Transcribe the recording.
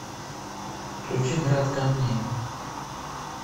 включи град камней